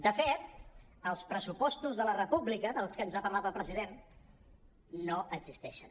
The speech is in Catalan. de fet els pressupostos de la república dels que ens ha parlat el president no existeixen